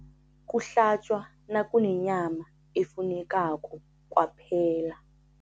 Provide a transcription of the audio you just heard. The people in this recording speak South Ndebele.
Kuhlatjwa nakunenyama efunekako kwaphela.